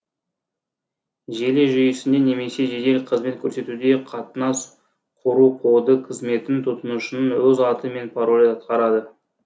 желі жүйесінде немесе жедел қызмет көрсетуде қатынас кұру коды қызметін тұтынушының өз аты мен паролі атқарады